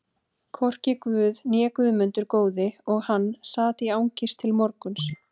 Hvorki Guð né Guðmundur góði og hann sat í angist til morguns.